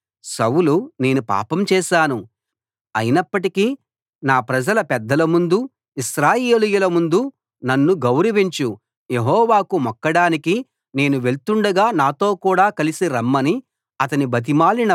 సౌలు నేను పాపం చేశాను అయినప్పటికీ నా ప్రజల పెద్దల ముందు ఇశ్రాయేలీయుల ముందు నన్ను గౌరవించు యెహోవాకు మొక్కడానికి నేను వెళ్తుండగా నాతో కూడ కలసి రమ్మని అతని బతిమాలినప్పుడు